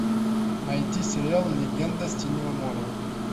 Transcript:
найти сериал легенда синего моря